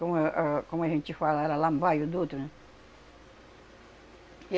Como é, ãhn, como a gente fala era no bairro Dutra